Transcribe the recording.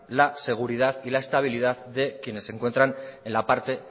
la seguridad y la estabilidad de quienes se encuentran en la parte